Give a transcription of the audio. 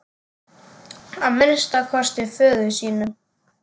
Að minnsta kosti föður sínum.